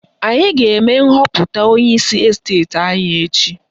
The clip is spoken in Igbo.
Anyị ga-eme nhọpụta onyeisi esteti anyị echi